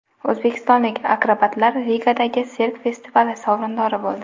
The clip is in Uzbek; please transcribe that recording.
O‘zbekistonlik akrobatlar Rigadagi sirk festivali sovrindori bo‘ldi.